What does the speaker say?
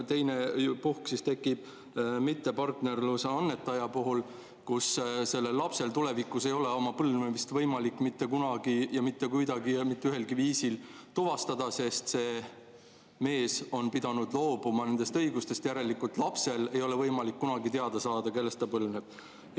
Teiseks on need puhud, mis tekivad mittepartnerist annetaja puhul, kui lapsel tulevikus ei ole oma põlvnemist võimalik mitte kunagi, mitte kuidagi ja mitte ühelgi viisil tuvastada, sest see mees on pidanud loobuma nendest õigustest, järelikult ei ole lapsel võimalik kunagi teada saada, kellest ta põlvneb.